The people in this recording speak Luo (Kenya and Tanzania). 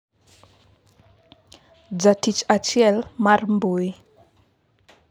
jatich achiel mar mbui